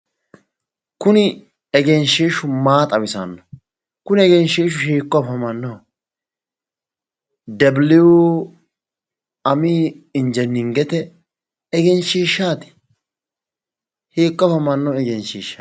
Kuni egenshshiishshu maa xawisanno kuni egenshshiishshu hiikko afamannoho debiliiyu ami injineringete egenshshiishshaati hiikko afamanno engeshshiishshaati?